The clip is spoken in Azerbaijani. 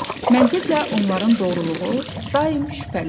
Məntiqlə onların doğruluğu daim şübhəlidir.